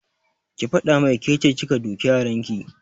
Ki faɗa mai kece kika duke yaran ki!